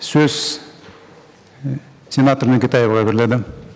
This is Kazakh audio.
сөз і сенатор нүкетаеваға беріледі